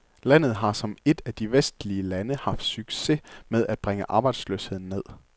Landet har som et af de vestlige lande haft succes med at bringe arbejdsløsheden ned.